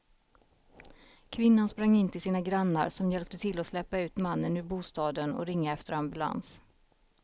Kvinnan sprang in till sina grannar som hjälpte till att släpa ut mannen ur bostaden och ringa efter ambulans.